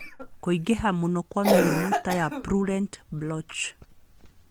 Kũingĩha mũno kwa mĩrimũ ta ya purulent blotch.